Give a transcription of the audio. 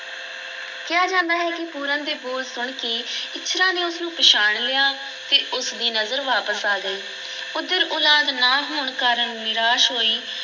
ਕਿਹਾ ਜਾਂਦਾ ਹੈ ਕਿ ਪੂਰਨ ਦੇ ਬੋਲ ਸੁਣ ਕੇ ਇੱਛਰਾਂ ਨੇ ਉਸ ਨੂੰ ਪਛਾਣ ਲਿਆ ਅਤੇ ਉਸ ਦੀ ਨਜ਼ਰ ਵਾਪਸ ਆ ਗਈ, ਉੱਧਰ ਉਲਾਦ ਨਾ ਹੋਣ ਕਾਰਨ ਨਿਰਾਸ ਹੋਈ